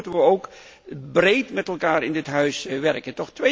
Zo moeten we ook breed met elkaar in dit Huis werken.